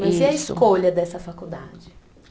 Mas e a escolha dessa faculdade?